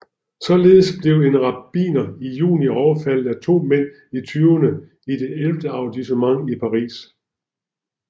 Således blev en rabbiner i juni overfaldet af to mænd i tyverne i det ellevte arrondissement i Paris